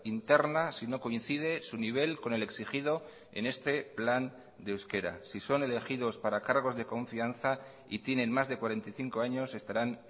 interna sino coincide su nivel con el exigido en este plan de euskera si son elegidos para cargos de confianza y tienen más de cuarenta y cinco años estarán